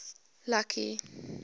lucky